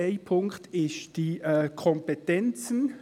Ein Punkt sind die Kompetenzen.